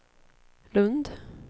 Lundh